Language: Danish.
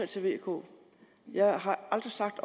til v og k jeg har aldrig sagt